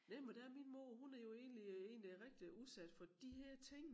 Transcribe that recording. Næ men og der er min mor hun er jo egentlig øh egentlig rigtig udsat for de her ting